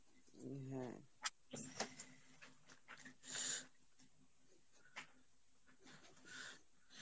হম হ্যাঁ